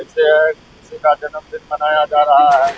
किसी का जन्‍मदिन मनाया जा रहा है।